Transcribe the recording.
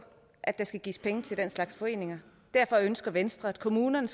at der skal gives penge til den slags foreninger og derfor ønsker venstre at kommunerne